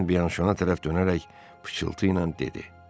Ejen Bianşona tərəf dönərək pıçıltıyla dedi: